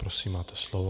Prosím, máte slovo.